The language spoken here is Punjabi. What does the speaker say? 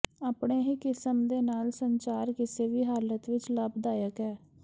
ਆਪਣੇ ਹੀ ਕਿਸਮ ਦੇ ਨਾਲ ਸੰਚਾਰ ਕਿਸੇ ਵੀ ਹਾਲਤ ਵਿਚ ਲਾਭਦਾਇਕ ਹੈ